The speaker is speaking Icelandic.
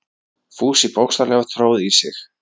Fúsi bókstaflega tróð í sig.